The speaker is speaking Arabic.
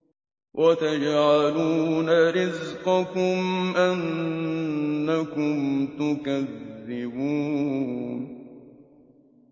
وَتَجْعَلُونَ رِزْقَكُمْ أَنَّكُمْ تُكَذِّبُونَ